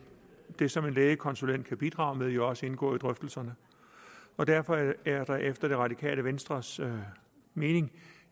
det som en lægekonsulent kan bidrage med vil jo også indgå i drøftelserne derfor er der efter det radikale venstres mening